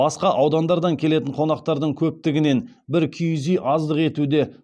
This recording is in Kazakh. басқа аудандардан келетін қонақтардың көптігінен бір киіз үй аздық етуде